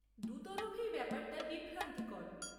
দু তরফেই ব্যাপারটা বিভ্রান্তিকর।